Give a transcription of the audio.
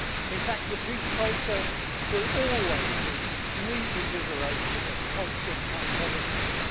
In fact the peace process will always need reinvigoration and constant monitoring.